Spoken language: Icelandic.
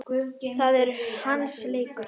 Það er hans leikur.